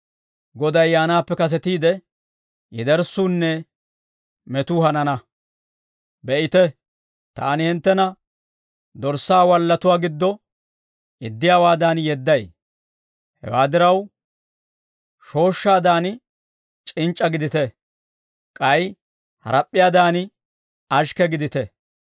«Be'ite! Taani hinttena dorssaa wallatuwaa giddo yeddiyaawaadan yedday. Hewaa diraw, shooshshaadan c'inc'c'a gidite; k'ay harap'p'iyaadan, ashikke gidite.